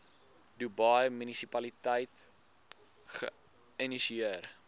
dubai munisipaliteit geïnisieer